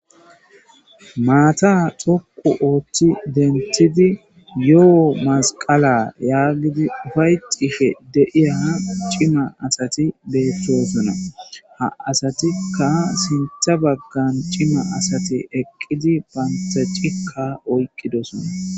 maata tokqu ooththi dentidi yo7o masqala yaagidi ufayxishe deiya cima asati beeththoosona ha asatikka sintha baggan cima asati eqqidi pantha cikka oyqqidosona